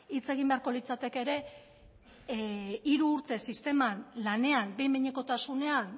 hitz egin beharko litzateke ere hiru urtez sisteman lanean behin behinekotasunean